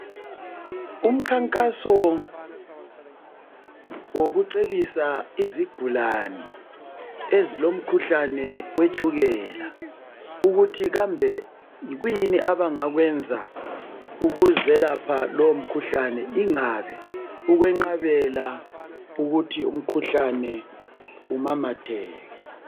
Umkhankaso wokucebisa izigulane ezilomkhuhlane wetshukela ukuthi kambe yikuyini abangakwenza ukuzelapha lomkhuhlane ingabe ukwenqabela ukuthi lumkhuhlane umamatheke.